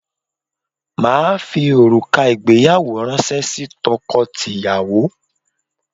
Màá fi òrùka ìgbéyàwó ránṣẹ́ sí tọkọtìyàwó